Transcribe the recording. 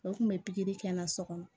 U kun bɛ pikiri kɛ n na so kɔnɔ